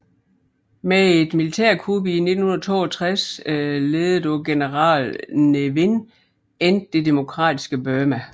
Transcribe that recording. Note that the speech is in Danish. Med et militærkup i 1962 ledet af general Ne Win endte det demokratiske Burma